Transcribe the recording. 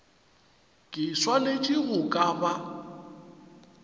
ke swanetše go ka ba